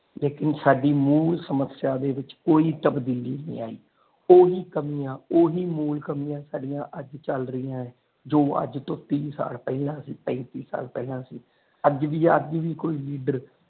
ਲੇਕਿਨ ਸਾਡੀ ਮੂਲ ਸਮੱਸਿਆ ਵਿਚ ਕੋਈ ਤਬਦੀਲੀ ਨਾਈ ਆਈ ਉਹੀ ਕਾਮਿਆਂ ਉਹੀ ਮੂਲ ਕਮੀਆਂ ਸਾਡੀਆਂ ਅੱਜ ਚੱਲ ਰਹੀਆਂ ਨੇ ਜੋ ਅੱਜ ਤੀਹ ਸਾਲ ਪਹਿਲਾ ਸੀ ਪੈਂਤੀ ਸਾਲ ਪਹਿਲਾ ਸੀ ਅੱਜ ਵੀ ਅੱਜ ਵੀ ਕੁੱਜ ਲੀਡਰ।